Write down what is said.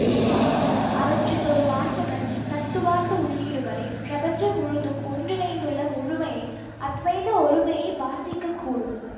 அவற்றில் ஒரு வாசகன் தத்துவார்த்த உள்ளீடுகளை பிரபஞ்சம் முழுதும் ஒன்றிணைந்துள்ள முழுமையை அத்வைத ஒருமையை வாசிக்கக் கூடும்